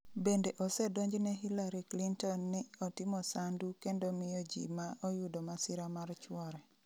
Bende osedonjone Hillary Clinton ni otimo sandu kendo miyo ji ma oyudo masira mar chuore.